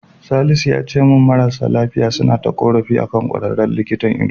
Salisu yace min marasa lafiya suna ta ƙorafi akan ƙwararren likitan ido.